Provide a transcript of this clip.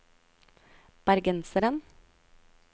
bergenseren